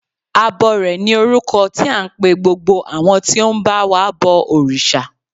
Abọrẹ̀ ni orúkọ tí à ń pe gbogbo àwọn tí ó ń ba wa bọ òrìṣà.